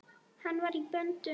Hann var í böndum.